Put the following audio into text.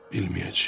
bilməyəcəyəm.